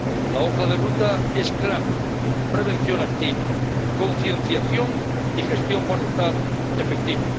La hoja de ruta es clara prevención activa, concienciación y gestión forestal efectiva.